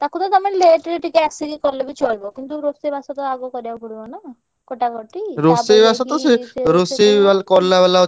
ତାକୁ ତ ତମେ late ରେ ଟିକେ ଆସିକି କଲେ ବି ଚଳିବ କିନ୍ତୁ ରୋଷେଇ ବାସ ଟା ଆଗ କରିଆକୁ ପଡିବ ନା। କଟାକଟି